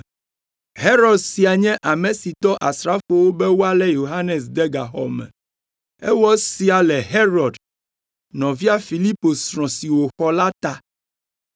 Herod sia nye ame si dɔ asrafowo be woalé Yohanes de gaxɔ me. Ewɔ esia le Herod, nɔvia Filipo srɔ̃ si wòxɔ la ta,